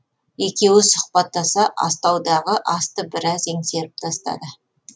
екеуі сұхбаттаса астаудағы асты біраз еңсеріп тастады